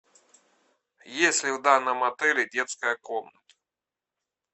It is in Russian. есть ли в данном отеле детская комната